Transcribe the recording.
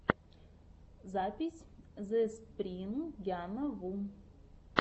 запись зэспрингяна ву